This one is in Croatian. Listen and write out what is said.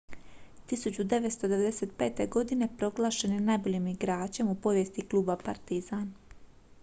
1995. godine proglašen je najboljim igračem u povijesti kluba partizan